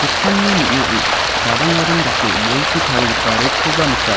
ning·ao gadang gadang dake bolchi tarigipa reck-koba nika.